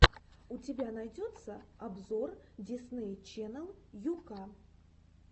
у тебя найдется обзор дисней ченнел ю ка